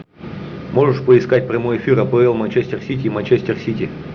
можешь поискать прямой эфир апл манчестер сити и манчестер сити